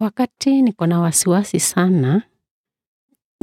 Wakati niko na wasiwasi sana,